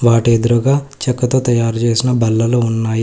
వాటి ఎదురూగా చెక్క తో తయారు జేసిన బల్లలు ఉన్నాయి.